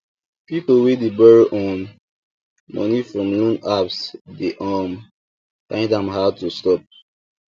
people wey dey borrow um money from loan apps dey um find am hard to stop